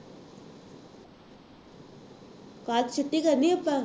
ਕੱਲ੍ਹ ਛੁੱਟੀ ਕਰਨੀ ਆਪਾਂ